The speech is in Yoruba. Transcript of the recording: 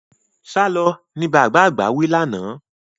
Sálọ! ni bàbá àgbà wí lánàá.